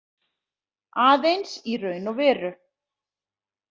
Aðeins í raun og veru.